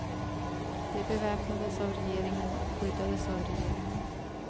De beväpnades av regeringen och skyddades av regeringen.